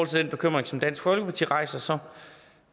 til den bekymring som dansk folkeparti rejser